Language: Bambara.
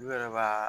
U yɛrɛ b'a